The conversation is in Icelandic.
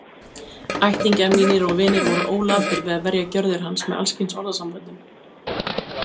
Ættingjar mínir og vinir voru ólatir við að verja gjörðir hans með alls kyns orðasamböndum.